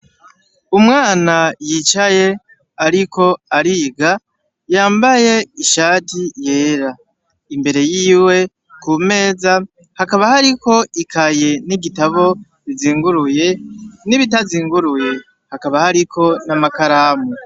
Umwana yicaye, ariko ariga, yambaye ishati yera. Imbere yiwe, ku meza, hakaba hariko ikaye n'igitabo bizinguruye n'ibitazinguruye. Hakaba hariko n'amakaramu.